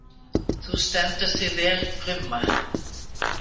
Þú stendur þig vel, Krumma!